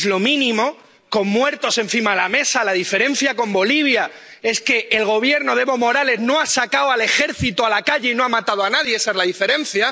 Es lo mínimo, hay muertos encima de la mesa. La diferencia con Bolivia es que el Gobierno de Evo Morales no ha sacado al ejército a la calle y no ha matado a nadie esa es la diferencia.